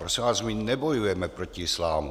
Prosím vás, my nebojujeme proti islámu.